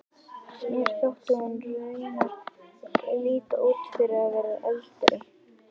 Mér þótti hún raunar líta út fyrir að vera eldri.